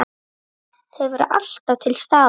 Þau voru alltaf til staðar.